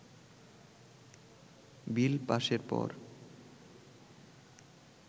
বিল পাসের পর